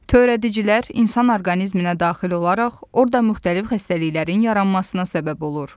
Törədicilər insan orqanizminə daxil olaraq orda müxtəlif xəstəliklərin yaranmasına səbəb olur.